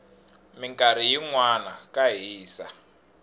minkarhi yinwana ka hisa